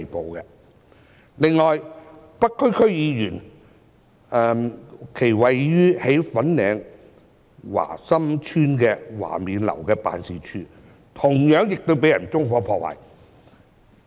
此外，一位北區區議員位於粉嶺華心邨華勉樓的辦事處，同樣亦被人縱火破壞。